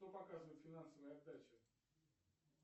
кто показывает финансовые отдачи